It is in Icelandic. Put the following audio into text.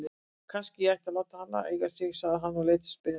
Kannski ég ætti að láta hana eiga sig? sagði hann og leit spyrjandi á Tóta.